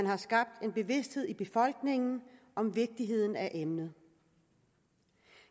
har skabt en bevidsthed i befolkningen om vigtigheden af emnet